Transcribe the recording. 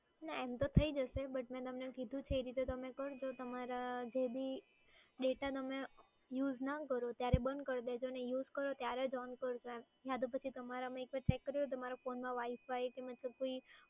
ના એમ તો થઈ જશે, but મે તમને જે રીતે કીધું છે એ રીતે કરો તો તમારા જે બી data તમે use ના કરો ત્યારે બંધ કરી દેજો અને use કરો ત્યારે જ on કરજો એમ. અને તમારે પછી check કરવો હોય તો પછી તમારા phone માં wi-fi અને પછી